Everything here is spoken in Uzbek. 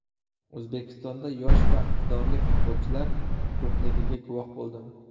O‘zbekistonda yosh va iqtidorli futbolchilar ko‘pligiga guvoh bo‘ldim.